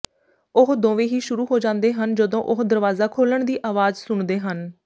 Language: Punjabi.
ਉਹ ਦੋਵੇਂ ਹੀ ਸ਼ੁਰੂ ਹੋ ਜਾਂਦੇ ਹਨ ਜਦੋਂ ਉਹ ਦਰਵਾਜ਼ਾ ਖੋਲ੍ਹਣ ਦੀ ਆਵਾਜ਼ ਸੁਣਦੇ ਹਨ